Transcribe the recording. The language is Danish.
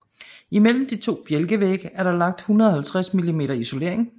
Imellem de to bjælkevægge er der lagt 150 mm isolering